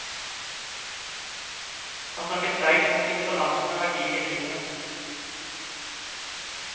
Han snakker sterkt om å finne balansen av verdier i livet.